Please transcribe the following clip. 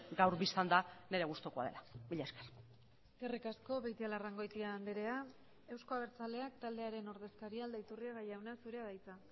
gaur bistan da nire gustukoa dela mila esker eskerrik asko beitialarrangoitia andrea euzko abertzaleak taldearen ordezkaria aldaiturriaga jauna zurea da hitza